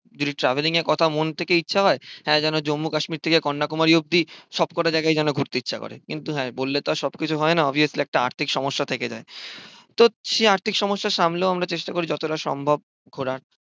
যদি ট্রাভেলিংয়ের কথা মন থেকে ইচ্ছা হয়, হ্যাঁ যেন জম্মু-কাশ্মীর থেকে কন্যাকুমারী অব্দি সব কটা জায়গাযই যেন ঘুরতে ইচ্ছা করে। কিন্তু হ্যাঁ বললে তো আর সবকিছু হয় না, অবভিয়াসলি একটা আর্থিক সমস্যা থেকে যায়। তো সেই আর্থিক সমস্যা সামলেও আমরা চেষ্টা করি যতটা সম্ভব ঘোরার